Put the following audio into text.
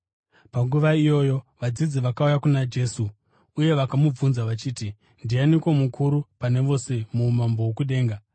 Panguva iyoyo vadzidzi vakauya kuna Jesu uye vakamubvunza vachiti, “Ndianiko mukuru pane vose muumambo hwokudenga?”